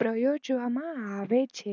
પ્રયોજવામાં આવે છે